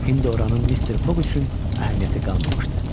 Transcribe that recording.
İndi oranın Mister Fog üçün əhəmiyyəti qalmamışdı.